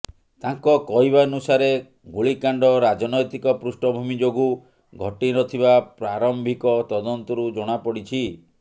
ତାଙ୍କ କହିବାନୁସାରେ ଗୁଳିକାଣ୍ଡ ରାଜନୈତିକ ପୃଷ୍ଠଭୂମି ଯୋଗୁଁ ଘଟିନଥିବା ପ୍ରାରମ୍ଭିକ ତଦନ୍ତରୁ ଜଣାପଡ଼ିଛି